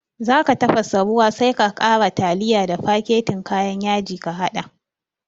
Zaka tafasa ruwa sai ka ƙara tiliya da faketin kayan yaji ka haɗa